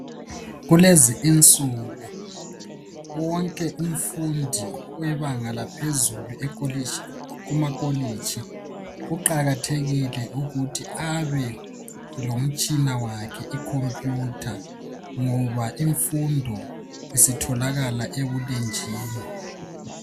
Kulezi insuku wonke umfundi webanga laphezulu kumakolitshi kuqakathekile ukuthi abe lomtshina wakhe ikhompiyutha ngoba imfundo isitholakala ebulenjini.